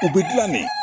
O bɛ dilan de